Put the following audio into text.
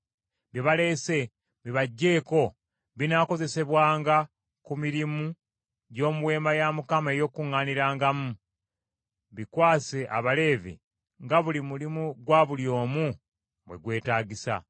“Bye baleese bibaggyeeko, binaakozesebwanga ku mirimu gy’omu Weema ey’Okukuŋŋaanirangamu. Bikwase Abaleevi, nga buli mulimu gwa buli omu bwe gwetaagisa.”